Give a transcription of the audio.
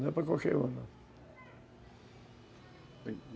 Não é para qualquer um, não.